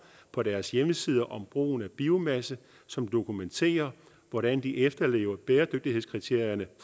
på deres hjemmesider om brugen af biomasse som dokumenterer hvordan de efterlever bæredygtighedskriterierne